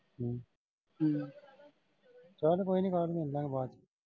ਚੱਲ ਕੋਈ ਨਈਂ ਬਾਅਦ ਚ ਮਿਲਲਾਂਗੇ ਬਾਹਰ।